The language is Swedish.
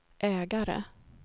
ägare